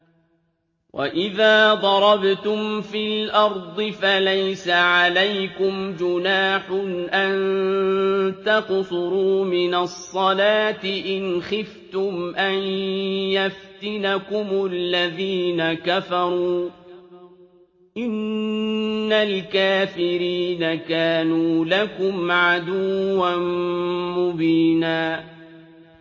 وَإِذَا ضَرَبْتُمْ فِي الْأَرْضِ فَلَيْسَ عَلَيْكُمْ جُنَاحٌ أَن تَقْصُرُوا مِنَ الصَّلَاةِ إِنْ خِفْتُمْ أَن يَفْتِنَكُمُ الَّذِينَ كَفَرُوا ۚ إِنَّ الْكَافِرِينَ كَانُوا لَكُمْ عَدُوًّا مُّبِينًا